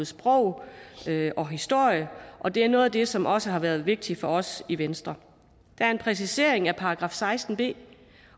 sprog og historie og det er noget af det som også har været vigtigt for os i venstre der er en præcisering af § seksten b